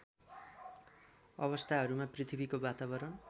अवस्थाहरूमा पृथ्वीको वातावरण